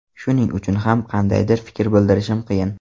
Shuning uchun ham qandaydir fikr bildirishim qiyin.